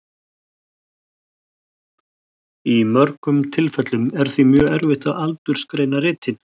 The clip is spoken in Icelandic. Í mörgum tilfellum er því mjög erfitt að aldursgreina ritin.